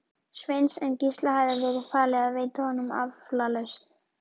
Sveins, en Gísla hafði verið falið að veita honum aflausn.